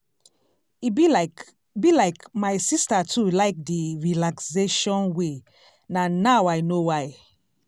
e be like be like my sister too like d relaxation way na now i know why.